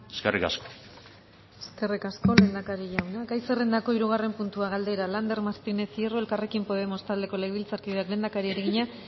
eskerrik asko eskerrik asko lehendakari jauna gai zerrendako hirugarren puntua galdera lander martínez hierro elkarrekin podemos taldeko legebiltzarkideak lehendakariari egina